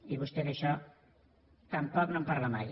i vostè d’això tampoc no en parla mai